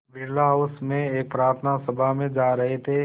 Birla House में एक प्रार्थना सभा में जा रहे थे